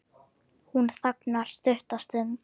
Hún þagnar stutta stund.